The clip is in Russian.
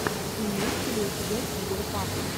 имеется ли у тебя киберпанк